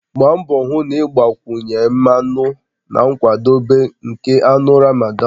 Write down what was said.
Gbaa mbọ hụ na ị gbakwunye mmanụ na nkwadebe nke anụ Ramadan